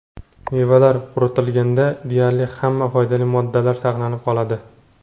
Mevalar quritilganda deyarli hamma foydali moddalar saqlanib qoladi.